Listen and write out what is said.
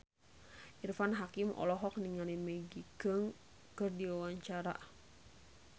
Irfan Hakim olohok ningali Maggie Cheung keur diwawancara